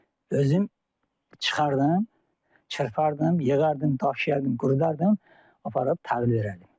Özüm çıxırdım, çırpardım, yığardım, daşıyardım, qurudardım, aparıb təhvil verərdim.